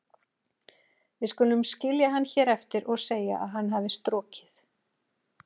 Við skulum skilja hann hér eftir og segja að hann hafi strokið.